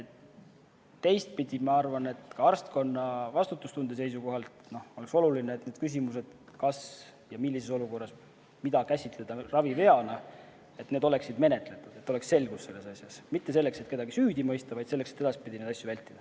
Teistpidi, ma arvan, et arstkonna vastutustunde seisukohalt oleks oluline, et need küsimused, kas ja millises olukorras mida käsitleda raviveana, oleksid menetletud, et selles asjas oleks selgus – mitte selleks, et kedagi süüdi mõista, vaid selleks, et edaspidi neid asju vältida.